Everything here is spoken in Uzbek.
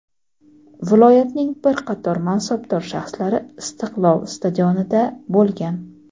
viloyatning bir qator mansabdor shaxslari "Istiqlol" stadionida bo‘lgan.